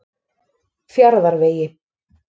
Fjarðarvegi